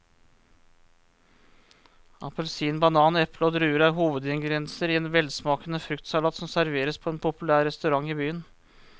Appelsin, banan, eple og druer er hovedingredienser i en velsmakende fruktsalat som serveres på en populær restaurant i byen.